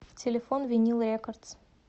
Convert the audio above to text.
телефон винил рекордс